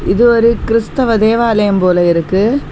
இது ஒரு கிறித்துவ தேவாலயம் போல இருக்கு.